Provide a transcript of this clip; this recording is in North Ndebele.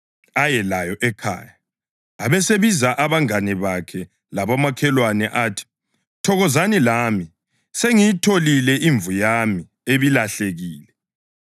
aye layo ekhaya. Abesebiza abangane bakhe labomakhelwane athi, ‘Thokozani lami; sengiyitholile imvu yami ebilahlekile.’